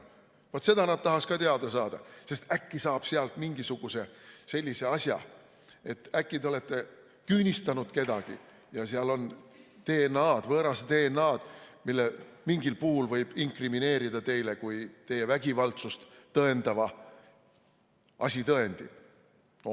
Vaat seda nad tahaks ka teada saada, sest äkki saab sealt mingisuguse sellise asja, et äkki te olete küünistanud kedagi ja seal on DNA-d, võõrast DNA-d, mille mingil puhul võib inkrimineerida teile kui teie vägivaldsust tõendava asitõendi.